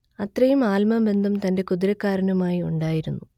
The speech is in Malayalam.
അത്രയും ആത്മബന്ധം തന്റെ കുതിരക്കാരനുമായി ഉണ്ടായിരുന്നു